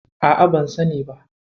A'a, ban sani ba.